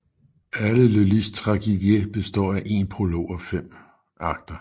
Alle Lullys tragédies består af en prolog og fem akter